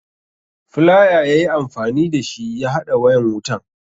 Flaya ya yi amfani da shi ya haɗa wayan wutan.